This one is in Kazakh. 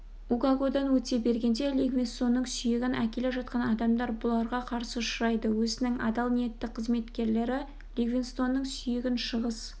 угогодан өте бергенде ливингстонның сүйегін әкеле жатқан адамдар бұларға қарсы ұшырайды өзінің адал ниетті қызметкерлері ливингстонның сүйегін шығыс